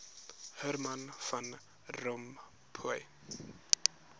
herman van rompuy